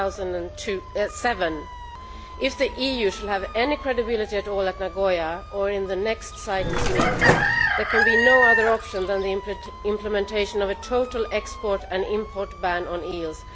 2007. If the EU is to have any credibility at all at Nagoya or in the next CITES meeting, there can be no other option than the implementation of a total export and import ban on eels.